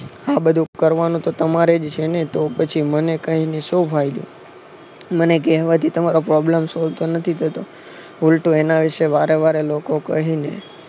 આ બધું કરવાનું તો તમારે જ છે ને તો પછી મન કઇને શો ફાયદો મને કહેવાથી તમારો problem solve તો નથી થતો ઉલટું એના વિશે વારેવારે લોકોને કહી ને